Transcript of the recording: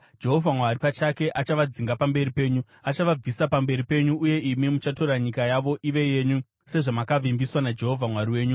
Jehovha Mwari pachake achavadzinga pamberi penyu. Achavabvisa pamberi penyu, uye imi muchatora nyika yavo ive yenyu, sezvamakavimbiswa naJehovha Mwari wenyu.